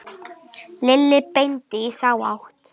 Lilli benti í þá átt.